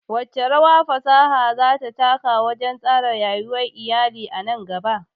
Wace rawa fasaha za ta taka wajen tsara rayuwar iyali nan gaba?